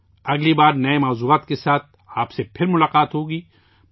اگلی بار نئے موضوعات کے ساتھ ، آپ سے ، پھر ملاقات ہوگی